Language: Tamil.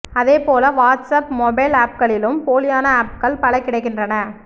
அதேபோல வாட்ஸ்அப் மொபைல் ஆப்களிலும் போலியான ஆப்கள் பல கிடைக்கின்றன